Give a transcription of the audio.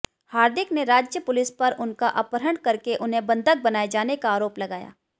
हार्दिक ने राज्य पुलिस पर उनका अपहरण करके उन्हें बंधक बनाए जाने का आरोप लगाया